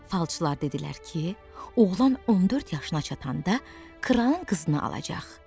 Falçılar dedilər ki, oğlan 14 yaşına çatanda kralın qızını alacaq.